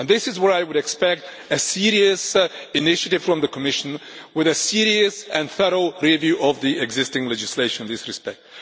This is where I would expect a serious initiative from the Commission with a serious and thorough review of the existing legislation in this respect.